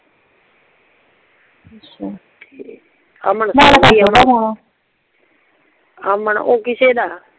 ਅਮਨ ਅਮਨ ਓ ਕਿਸੇ ਦਾ